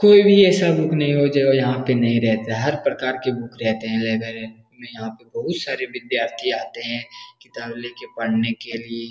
कोई भी ऐसा बुक नहीं होगा जो यहाँ पे नहीं रहता है हर प्रकार के बुक रहते हैं हमे यहाँ पे बहुत सारे विद्यार्थी आते हैं किताब लेके पढने के लिए।